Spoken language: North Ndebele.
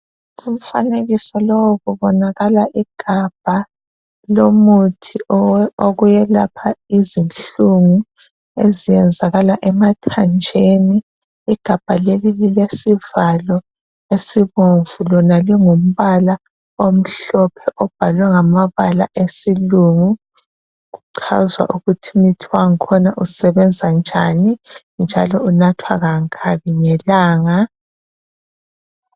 Umfanekiso lowu okubonakala igabha lomuthi wokuyelapha iznhlungu eziyenzakala emathanjeni igabha leli liLesivalo esibomvu Lona lingumbala omhlophe obhalwe ngamabala yesilungu lichaza ukuthi umuthi wangkhona usebenzani unathwa kangaki ngelanga